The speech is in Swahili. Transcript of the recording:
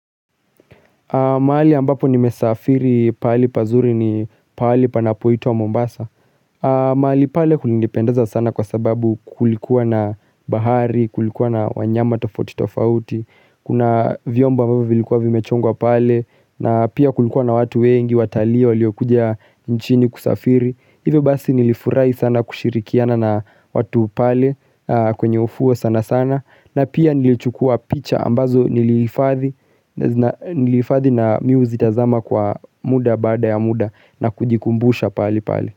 Mahali ambapo nimesafiri pahali pazuri ni pahali panapoitwa Mombasa. Mahali pale kulinipendeza sana kwa sababu kulikuwa na bahari, kulikuwa na wanyama tofauti tofauti, Kuna vyombo ambavyo vilikuwa vimechongwa pale na pia kulikuwa na watu wengi, watalii waliokuja nchini kusafiri, hivyo basi nilifurahi sana kushirikiana na watu pale kwenye ufuo sana sana, na pia nilichukua picha ambazo nilihifadhi na mi huzitazama kwa muda baada ya muda na kujikumbusha pahali pale.